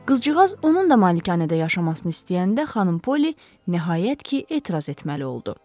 Qızcığaz onun da malikanədə yaşamasını istəyəndə xanım Polli nəhayət ki, etiraz etməli oldu.